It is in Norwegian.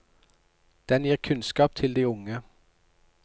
Den gir kunnskap til de unge.